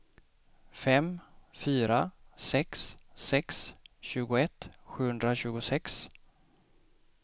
fem fyra sex sex tjugoett sjuhundratjugosex